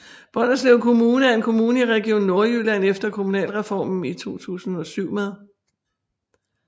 Brønderslev Kommune er en kommune i Region Nordjylland efter Kommunalreformen i 2007 med